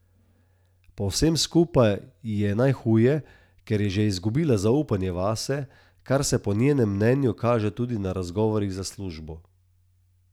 Pri vsem skupaj ji je najhuje, ker je že izgubila zaupanje vase, kar se po njenem mnenju kaže tudi na razgovorih za službo.